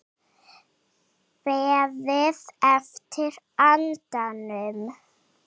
Beðið eftir andanum